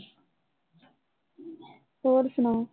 ਹੋਰ ਸੁਣਾਓ